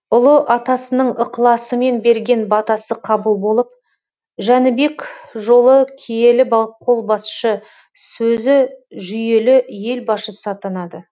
ұлы атасының ықыласымен берген батасы қабыл болып жәнібек жолы киелі қолбасшы сөзі жүйелі ел басшысы атанады